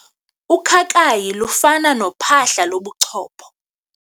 Ukhakayi lufana nophahla lobuchopho.